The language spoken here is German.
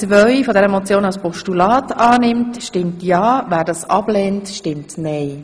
Wer Ziffer 2 als Postulat annimmt, stimmt ja, wer dies ablehnt, stimmt nein.